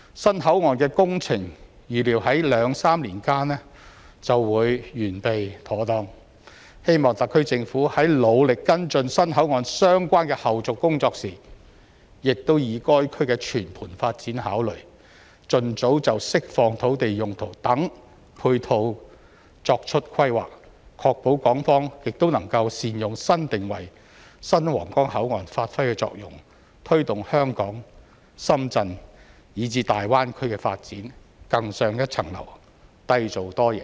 新口岸的工程預料在兩三年間便會完備妥當，希望特區政府在努力跟進新口岸相關的後續工作時，亦以該區的全盤發展考慮，盡早就釋放土地用途等配套作出規劃，確保港方亦能善用新定位、新皇崗口岸發揮的作用，推動香港、深圳以至大灣區的發展更上一層樓，締造多贏。